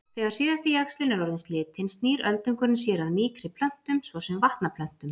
Þegar síðasti jaxlinn er orðinn slitinn snýr öldungurinn sér að mýkri plöntum svo sem vatnaplöntum.